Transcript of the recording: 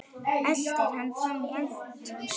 Eltir hana fram í eldhús.